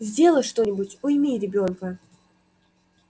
сделай что-нибудь уйми ребёнка